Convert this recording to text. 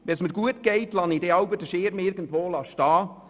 Wenn es mir gut geht, lasse ich jeweils den Schirm irgendwo stehen.